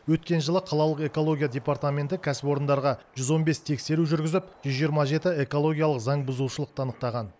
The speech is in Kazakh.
өткен жылы қалалық экология департаменті кәсіпорындарға жүз он бес тексеру жүргізіп жүз жиырма жеті экологиялық заңбұзушылықты анықтаған